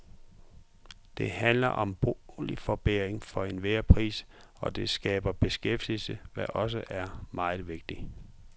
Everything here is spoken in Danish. Det handler om boligforbedring for enhver pris, og det skaber beskæftigelse, hvad også er meget vigtigt.